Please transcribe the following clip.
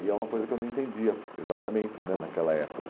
E é uma coisa que eu não entendia exatamente né naquela época.